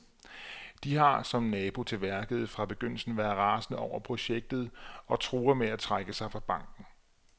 De har, som nabo til værket, fra begyndelsen været rasende over projektet og truer med at trække sig fra banken.